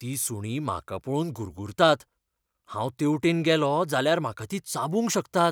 तीं सुणीं म्हाका पळोवन गुरगुरतात. हांव तेवटेन गेलो जाल्यार म्हाका तीं चाबूंक शकतात..